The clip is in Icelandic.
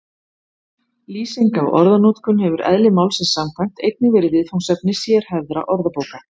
Lýsing á orðanotkun hefur eðli málsins samkvæmt einnig verið viðfangsefni sérhæfðra orðabóka.